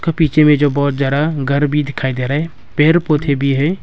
पीछे में जो बहोत जरा घर भी दिखाई दे रहे पेर पौधे भी है।